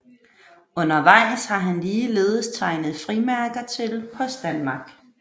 Undervejs har han ligeledes tegnet frimærker til Post Danmark